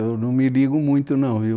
, eu não me ligo muito não, viu?